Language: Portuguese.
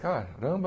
Caramba!